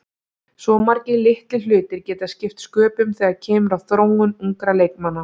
Svo margir litlir hlutir geta skipt sköpum þegar kemur að þróun ungra leikmanna.